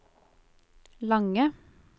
lange